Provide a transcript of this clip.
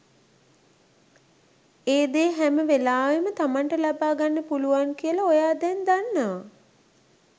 ඒ දේ හැමවෙලාවෙම තමන්ට ලබා ගන්න පුළුවන් කියල ඔයා දැන් දන්නවා